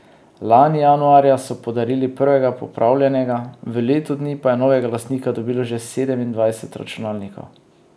Lani januarja so podarili prvega popravljenega, v letu dni pa je novega lastnika dobilo že sedemindvajset računalnikov.